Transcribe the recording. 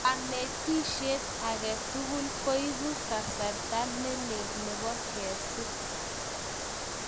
Kanetisiet age tugul ko ipu kasarta ne lel nebo kesir